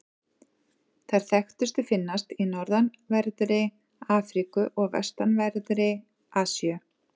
Þær þekktustu finnast í norðanverðri Afríku og vestanverðri Asíu.